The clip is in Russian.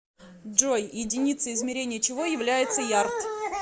джой единицей измерения чего является ярд